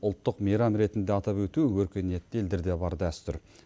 ұлттық мейрам ретінде атап өту өркениетті елдерде бар дәстүр